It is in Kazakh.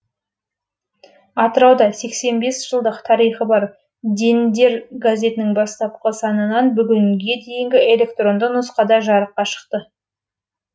атырауда сексен бес жылдық тарихы бар дендер газетінің бастапқы санынан бүгінге дейінгі электронды нұсқада жарыққа шықты